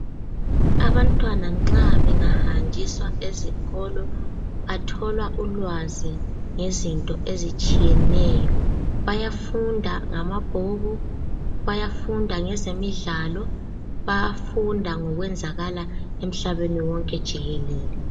Abantwana nxa bengahanjiswa esikolo bathola ulwazi ngezinto ezitshiyeneyo. Bayafunda ngamabhuku, bayafunda ngezemidlalo bayafunda ngokwenzakala umhlaba wonke jikelele.